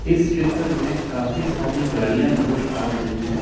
इस चित्र में काफी सारी गाड़ियां नजर आ रही है।